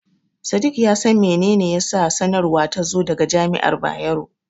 Sadik ya san mene ne yasa sanarwar ta zo daga Jami'ar Bayero.